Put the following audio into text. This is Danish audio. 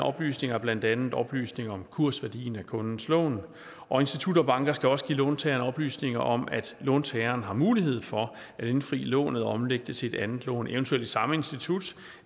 oplysninger er blandt andet oplysninger om kursværdien af kundens lån og institutter og banker skal også give låntageren oplysninger om at låntageren har mulighed for at indfri lånet og omlægge det til et andet lån eventuelt i samme institut